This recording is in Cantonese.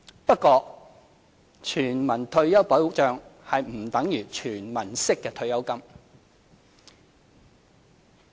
不過，全民退休保障不等於"全民式"的退休金。